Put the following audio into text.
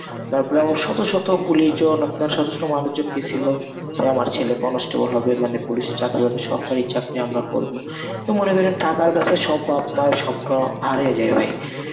তারপরে শত শত পুলিশ জন আপনার শত শত মানুষজন গেছিলো. তাই আমার ছেলে constable হবে মানে পুলিশে চাকরি পাবে সরকারি চাকরি আমরা করব তো মনে করেন টাকার কাছে সব বাপ মায়ের স্বপ্ন হারাইয়া যাই ভাই.